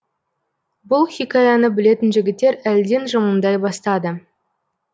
бұл хикаяны білетін жігіттер әлден жымыңдай бастады